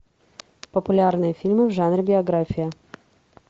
популярные фильмы в жанре биография